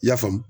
I y'a faamu